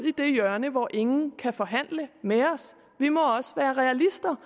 i et hjørne hvor ingen kan forhandle med os vi må også være realister